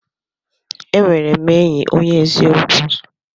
E nwere m enyi onye eziokwu.